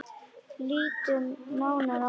Lítum nánar á þetta.